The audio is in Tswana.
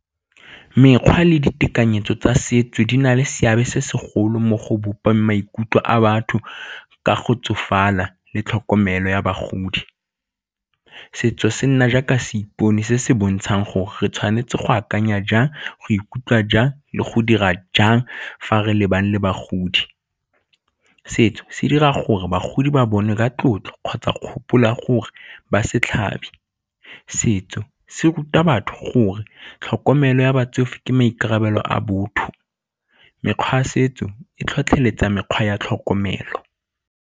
Mekgwa le ditekanyetso tsa setso di na le seabe se segolo mo go bopa maikutlo a batho ka go tsofala le tlhokomelo ya bagodi. Setso se nna jaaka seipone se se bontshang gore re tshwanetse go akanya jang, go ikutlwa jang le go dira jang fa re lebana le bagodi. Setso se dira gore bagodi ba bonwe ka tlotlo kgotsa kgopolo ya gore ba setso se ruta batho gore tlhokomelo ya batsofe ke maikarabelo a botho, mekgwa ya setso e tlhotlheletsa mekgwa ya tlhokomelo.